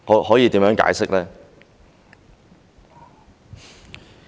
可以怎麼解釋呢？